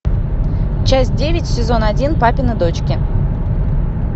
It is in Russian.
часть девять сезон один папины дочки